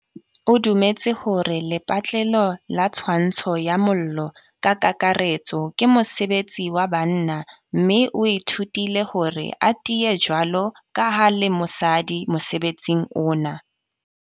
O dumetse hore lepatlelo la tshwantsho ya mollo ka kakaretso, ke mosebetsi wa banna. Mme o ithutile hore a tiye jwalo ka ha e le mosadi mosebetsing ona.